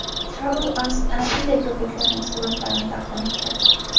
TravelAsk ana shunday ko‘priklarning suratlarini taqdim etdi .